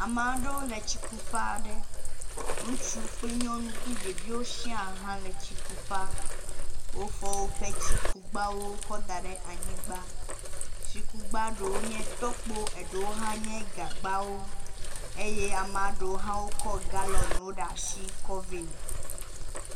Ame aɖewo le tsikuƒe aɖe, ŋutsu kple nyɔnu kple ɖeviwo siaa hã le tsikuƒea. Wo